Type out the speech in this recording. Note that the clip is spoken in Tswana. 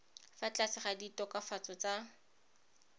fa tlase ga ditokafatso tsa